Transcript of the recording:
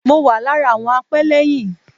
Mo wà lára àwọn apẹ́lẹ́yìn.